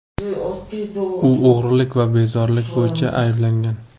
U o‘g‘rilik va bezorilik bo‘yicha ayblangan.